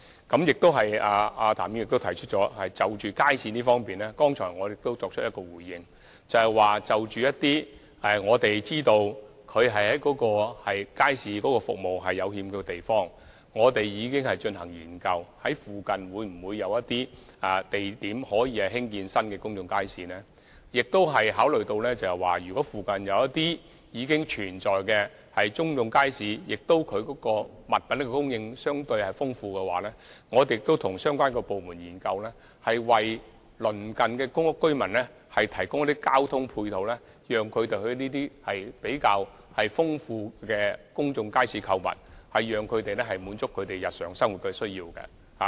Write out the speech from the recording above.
譚議員亦提到街市，而剛才我亦已表示，就着我們知道一些欠缺街市服務的地方，我們已進行研究，了解在附近會否有地點興建新的公眾街市；我們亦考慮到，如果附近已經存在公眾街市，而物品供應相對豐富，我們亦已與相關部門研究，為鄰近公屋居民提供交通配套，供他們到這些物品供應比較豐富的公眾街市購物，以滿足他們的日常生活需要。